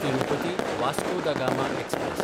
तिरुपती–वास्को दा गामा एक्सप्रॅस